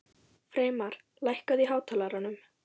Freymar, lækkaðu í hátalaranum.